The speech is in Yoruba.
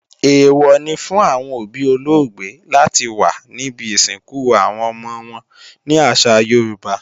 Èèwọ̀ ni fún àwọn òbí olóògbé láti wà níbi ìsìnkú àwọn ọmọ wọn ní àṣà Yorùbá.